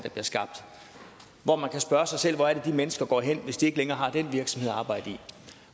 og man kan spørge sig selv hvor de mennesker går hen hvis de ikke længere har den virksomhed at arbejde i